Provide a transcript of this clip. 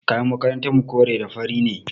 Kayan makarantarmu kore da fari ne.